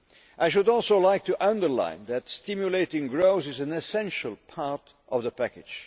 I should also like to underline that stimulating growth is an essential part of the package.